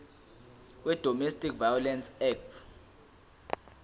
wedomestic violence act